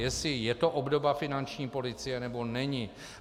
Jestli je to obdoba finanční policie, nebo není.